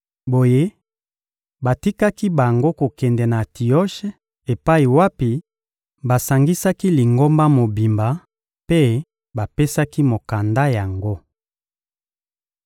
Boye, batikaki bango kokende na Antioshe epai wapi basangisaki Lingomba mobimba mpe bapesaki mokanda yango.